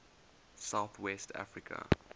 south west africa